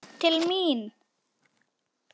Var þetta sneið til mín?